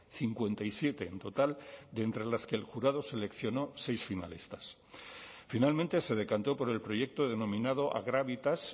cincuenta y siete en total de entre las que el jurado seleccionó seis finalistas finalmente se decantó por el proyecto denominado agravitas